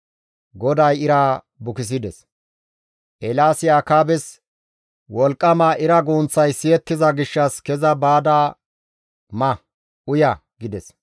Eelaasi Akaabes, «Wolqqama ira gunththay siyettiza gishshas keza baada ma, uya» gides.